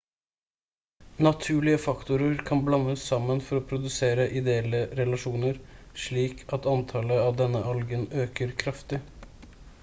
naturlige faktorer kan blandes sammen for å produsere ideelle relasjoner slik at antallet av denne algen øker kraftig